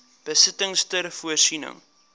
besittings ter voorsiening